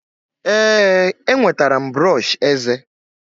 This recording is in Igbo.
ee, enwetara m brọsh eze